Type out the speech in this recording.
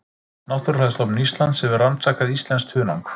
Náttúrufræðistofnun Íslands hefur rannsakað íslenskt hunang